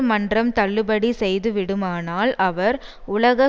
மன்றம் தள்ளுபடி செய்துவிடுமானால் அவர் உலக